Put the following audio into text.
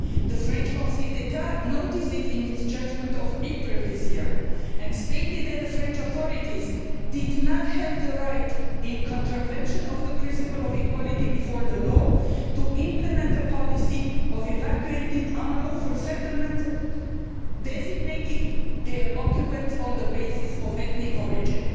The French Conseil d'Etat noted it in its judgment of April this year and stated that the French authorities did not have the right, in contravention of the principle of equality before the law, to implement the policy of evacuating unlawful settlements by designating their occupants on the basis of ethnic origin.